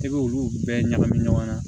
I b'olu bɛɛ ɲagami ɲɔgɔn na